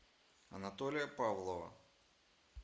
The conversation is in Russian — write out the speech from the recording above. анатолия павлова